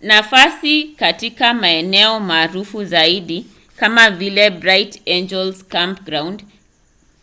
nafasi katika maeneo maarufu zaidi kama vile bright angel campground